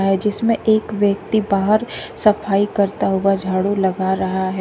जिसमें एक व्यक्ति बाहर सफाई करता हुआ झाड़ू लगा रहा है।